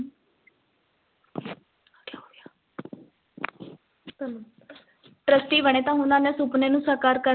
trustee ਬਣੇ ਤਾਂ ਸੁਪਨੇ ਨੂੰ ਸਾਕਾਰ ਕਰ,